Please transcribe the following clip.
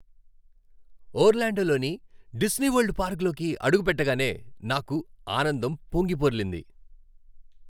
ఓర్లాండోలోని Disney World పార్కులోకి అడుగుపెట్టగానే నాకు ఆనందం పొంగిపొర్లింది.